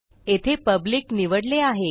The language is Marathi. येथे पब्लिक निवडले आहे